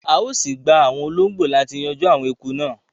À ó síí gbà àwọn olóngbó láti yanjú àwọn eku náà